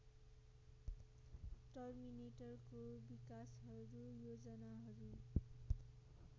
टर्मिनेटरको विकासहरू योजनाहरू